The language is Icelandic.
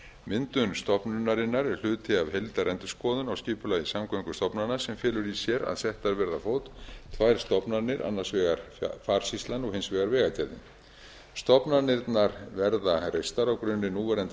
myndun stofnunarinnar er hluti af heildarendurskoðun á skipulagi samgöngustofnana sem felur í sér að settar verði á fót tvær stofnanir annars vegar farsýslan og hins vegar vegagerðin stofnanirnar verða reistar á grunni núverandi